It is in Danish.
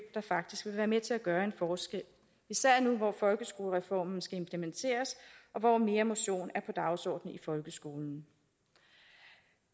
der faktisk vil være med til at gøre en forskel især nu hvor folkeskolereformen skal implementeres og hvor mere motion er på dagsordenen i folkeskolen